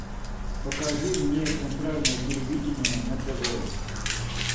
покажи мне центральное телевидение на тв